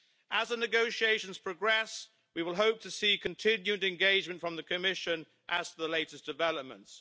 As the negotiations progress we will hope to see continued engagement from the Commission as to the latest developments.